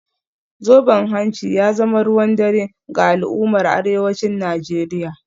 Zoben hanci ya zama ruwan dare ga al’ummar arewacin Najeriya